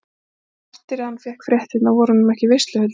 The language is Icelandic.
Og eftir að hann fékk fréttirnar voru honum ekki veisluhöld í hug.